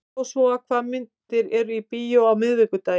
Jósúa, hvaða myndir eru í bíó á miðvikudaginn?